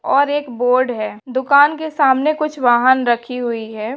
और एक बोर्ड है। दुकान के सामने कुछ वहांन रखी हुई है।